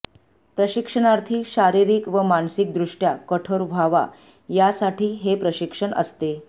प्रशिक्षणार्थी शारिरीक व मानसीक द्रुष्ट्या कठोर व्हावा यासाठी हे प्रशिक्षण असते